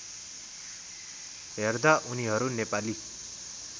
हेर्दा उनीहरू नेपाली